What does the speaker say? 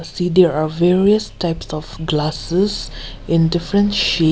see there are various types of glasses in different chai--